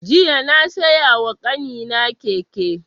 Jiya na siya wa ƙanina keke